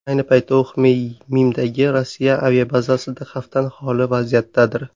Ayni paytda u Xmeymimdagi Rossiya aviabazasida xavfdan xoli vaziyatdadir.